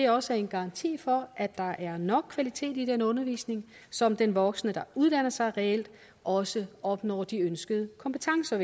også er en garanti for at der er nok kvalitet i den undervisning så den voksne der uddanner sig reelt også opnår de ønskede kompetencer